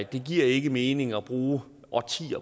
det giver ikke mening at bruge årtier